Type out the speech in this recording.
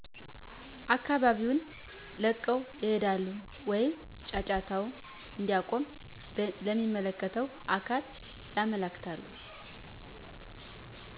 አካባቢውን ለቀው ይሄዳሉ ወይም ጫጫታው እንዲቆም ለሚመለከተው አካል ያመለክታሉ